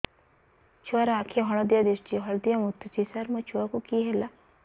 ଛୁଆ ର ଆଖି ହଳଦିଆ ଦିଶୁଛି ହଳଦିଆ ମୁତୁଛି ସାର ମୋ ଛୁଆକୁ କି ହେଲା